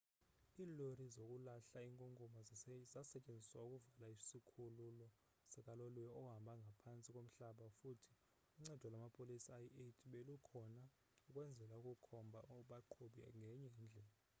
iilori zokulahla inkunkuma zasetyenziswa ukuvala isikhululo sikaloliwe ohamba ngaphantsi komhlaba futhi uncedo lwamapolisa ayi-80 belukhona ukwenzela ukukhombha abaqhubi ngenye indlela